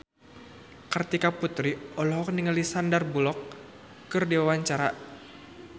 Kartika Putri olohok ningali Sandar Bullock keur diwawancara